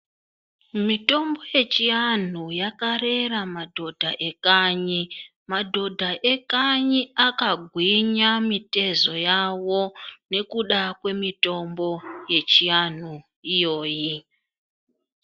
Mitombo yechiantu yakarera madhodha ekanyi madhodha ekanyi akagwinya mitezo yayo nekuda kwemitombo yechi antu iyoyi.